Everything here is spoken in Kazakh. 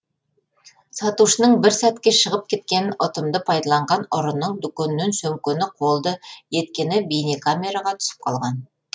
сатушының бір сәтке шығып кеткенін ұтымды пайдаланған ұрының дүкеннен сөмкені қолды еткені бейнекамераға түсіп қалған